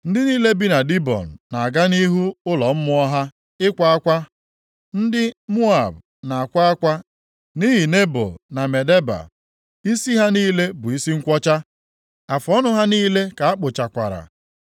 Ndị niile bi na Dibọn na-aga nʼihu ụlọ mmụọ ha ịkwa akwa. Ndị Moab na-akwa akwa nʼihi Nebo na Medeba. Isi ha niile bụ isi nkwọcha, afụọnụ ha niile ka akpụchakwara.